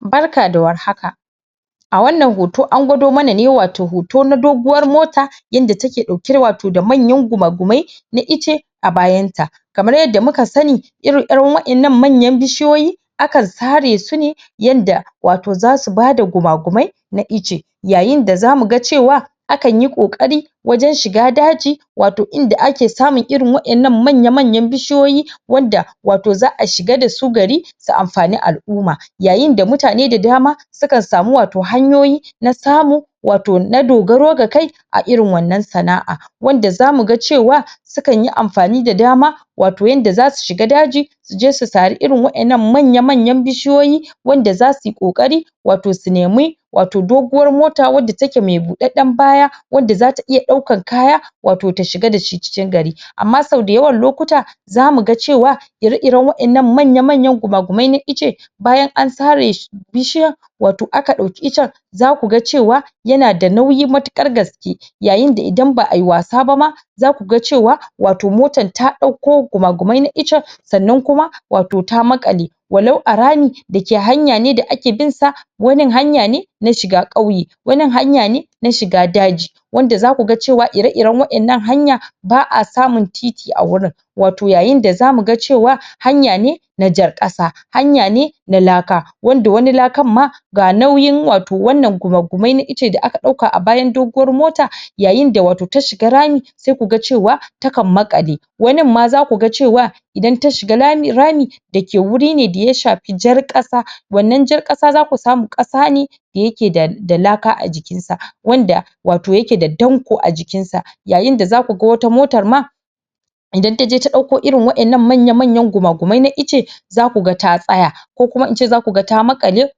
Barka da warhaka, a wannan hoto an gwado mana ne, wato hoto na doguwar mota inda take ɗauke da wato manyan guma-gumai na icce a bayan ta kamar yadda muka sani iren-iren waƴannan manyan bishiyoyi akan sare su ne yanda wato zasu bada guma-gumai na icce yayin da zamu ga cewa a kan yi ƙoƙari wajen shiga daji wato inda ake samun irin waƴannan manya-manyan bishiyoyi wanda wato za'a shiga dasu gari su amfani al'umma yayin da mutane da dama su kan samu wato hanyoyi na samu wato na dogaro da kai a irin wannan sana'a wanda zamu ga cewa su kan yi amfani da dama wato yanda zasu shiga daji su je su sari irin waƴannan manya-manyan bishiyoyi wanda zasu yi ƙoƙari wato su nemi wato doguwar mota wanda take me buɗaɗɗen baya wanda zata iya ɗaukan kaya wato ta shiga da shi cikin gari amma sau da yawan lokuta zamu ga cewa ire-iren waƴannan manya-manyan guma-gumai na icce bayan an sare su bishiya wato aka ɗauki iccen zaku ga cewa yana da nauyi matuƙar gaske yayin da idan ba'a yi wasa ba ma zaku ga cewa wato motar ta ɗauko guma-gumai na iccen sannan kuma wato ta maƙale walau a rami da ke hanya ne da ake bin sa wanin hanya ne na shiga ƙauye, wanin hanya ne na shiga daji, wanda zaku ga cewa ire-iren waƴannan hanya ba'a samun titi a wurin wato yayin da zamu ga cewa hanya ne na jar ƙasa hanya ne na laka wanda wani lakan ma ga nauyin wato wannan guma-gumai na icce da aka ɗauka a bayan doguwar mota, yayin da wato ta shiga rami sai ku ga cewa takan maƙale wanin ma zaku ga cewa idan ta shiga rami da ke wuri ne da ya shafi jar ƙasa, wannan jar ƙasa zaku samu ƙasa ne da yake da laka a jikin sa wanda wato yake da danƙo a jikin sa yayin da zaku ga wata motar ma idan taje ta ɗauko irin waƴannan manya-manyan guma-gumai na icce zaku ga ta tsaya ko kuma in ce zaku ga ta maƙale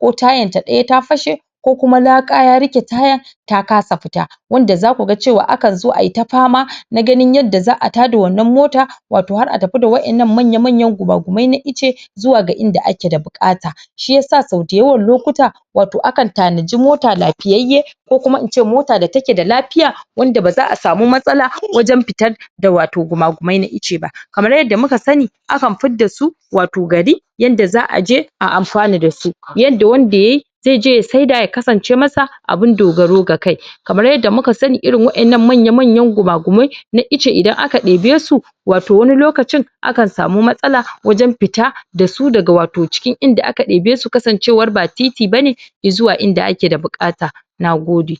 ko tayan ta ɗaya ta fashe ko kuma laka ya riƙe taya ta kasa fita wanda zaku ga cewa a kan so ai ta fama, na ganin yadda za'a tada wannan mota wato har a tafi da waƴannan manya-manyan guma-gumai na icce zuwa ga inda ake da buƙata, shiyasa so da yawan lokuta wato akan tanaji mota lafiyayye ko kuma in ce mota da take da lafiya wanda ba za'a samu matsala wajen fitan da wato guma-gumai na icce ba, kamar yadda muka sani a kan fidda su wato gari yanda za'a je a amfana da su, yanda wanda yayi zai je ya saida ya kasance masa abin dogaro ga kai kamar yadda muka sani irin waƴannan manya-manyan guma-gumai na icce idan aka ɗibe su wato wani lokacin akan samu matsala waje fita da su daga wato cikin inda ake ɗebe su kasancewar ba titi bane i zuwa inda ake da buƙata na gode.